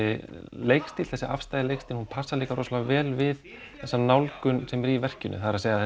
leikstíll þessi leikstíll passar líka rosalega vel við þessa nálgun sem er á verkinu það er að